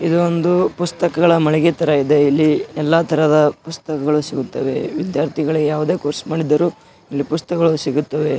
ಇದೊಂದು ಪುಸ್ತಕಗಳ ಮಳಿಗೆ ತರ ಇದೆ ಎಲ್ಲ ತರಹದ ಪುಸ್ತಕಗಳು ಸಿಗುತ್ತವೆ ವಿದ್ಯಾರ್ಥಿಗಳು ಯಾವುದೇ ಕೋರ್ಸ್ ಮಾಡಿದ್ದರೂ ಇಲ್ಲಿ ಪುಸ್ತಕಗಳು ಸಿಗುತ್ತದೆ.